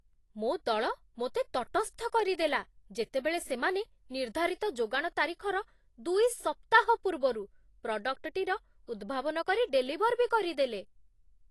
ମୋ ଦଳ ମୋତେ ତଟସ୍ଥ କରିଦେଲା, ଯେତେବେଳେ ସେମାନେ ନିର୍ଦ୍ଧାରିତ ଯୋଗାଣ ତାରିଖର ଦୁଇ ସପ୍ତାହ ପୂର୍ବରୁ ପ୍ରଡ଼କ୍ଟଟିର ଉଦ୍ଭାବନ କରି ଡେଲିଭର୍ ବି କରିଦେଲେ।